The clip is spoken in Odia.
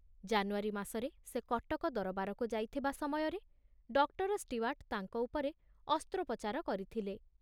ଜାନୁଆରୀ ମାସରେ ସେ କଟକ ଦରବାରକୁ ଯାଇଥିବା ସମୟରେ ଡକ୍ଟର ଷ୍ଟିୱାର୍ଟ ତାଙ୍କ ଉପରେ ଅସ୍ତ୍ରୋପଚାର କରିଥିଲେ।